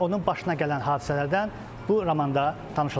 Və onun başına gələn hadisələrdən bu romanda tanış ola bilərsiniz.